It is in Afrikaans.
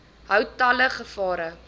hou talle gevare